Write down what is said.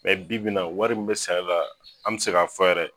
Mɛ bi bi in na wari min be sara la an be se k'a fɔ yɛrɛ